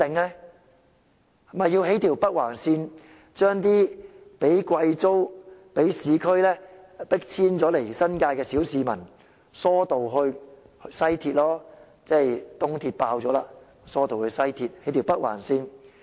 那便要興建一條北環線，把那些被貴租及被市區重建迫遷往新界的小市民疏導至西鐵線，因為東鐵線已爆滿。